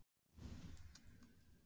Hver treystir sér til að velja?